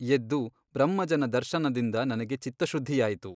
ಎದ್ದು ಬ್ರಹ್ಮಜ್ಞನ ದರ್ಶನದಿಂದ ನನಗೆ ಚಿತ್ತಶುದ್ಧಿಯಾಯಿತು.